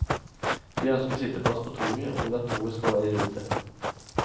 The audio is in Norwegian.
De ønsker sitteplass på toget, og vil at toget skal være i rute.